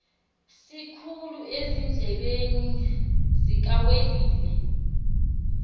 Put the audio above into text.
sikhulu ezindlebeni zikawelile